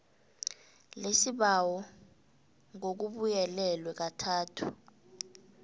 lesibawo ngokubuyelelwe kathathu